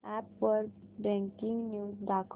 app वर breaking news दाखव